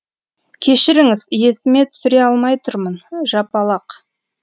кешіріңіз есіме түсіре алмай тұрмын жапалақ